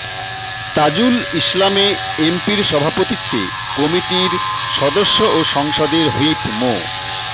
তাজুল ইসলামে এমপির সভাপতিত্বে কমিটির সদস্য ও সংসদের হুইপ মো